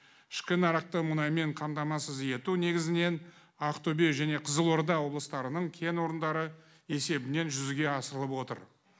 ішкі нарықты мұнаймен қамтамасыз ету негізінен ақтөбе және қызылорда облыстарының кен орындары есебінен жүзеге асырылып отыр